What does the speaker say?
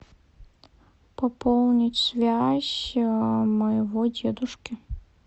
пополнить связь моего дедушки